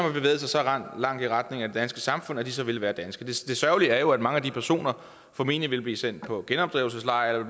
langt i retning af det danske samfund at de så ville være danske det sørgelige er jo at mange af de personer formentlig ville blive sendt på genopdragelseslejr